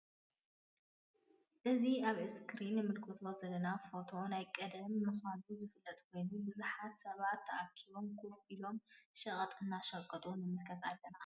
እዚ አብ እስክሪን እንምለቶ ዘለና ፎቶ ናይ ቀደም ምካኑ ዝፍለጥ ኮይኑ ብዙሓት ሰባት ተአኪቦም ከፍ ኢሎም ሸቀጥ እናሸቀጡ ንምልከት አለና::